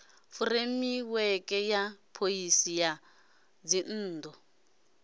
fureimiweke ya phoisi ya dzinnu